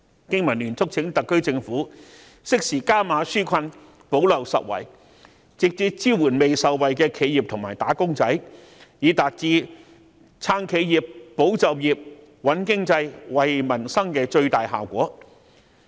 經民聯促請特區政府適時加碼紓困，補漏拾遺，直接支援未受惠的企業和"打工仔"，以達至撐企業、保就業、穩經濟、惠民生的最大效果。